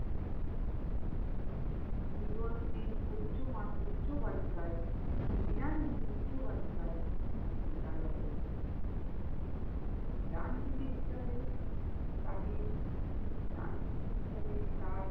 মিগরমিল উচ্চমান~উচ্চ বালিকায়~মৃণলিনী উচ্চ বালিকায় বিদ্যালয়ে ডানপিঠে হিসেবে তাকে ডানপিঠে হিসেবে তার